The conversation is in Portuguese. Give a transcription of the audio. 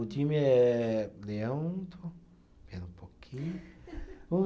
O time é. Leão, espera um pouquinho.